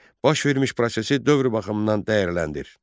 Baş vermiş prosesi dövr baxımından dəyərləndir.